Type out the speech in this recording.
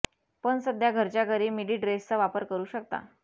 पण सध्या घरच्या घरी मिडी ड्रेसचा वापर करु शकता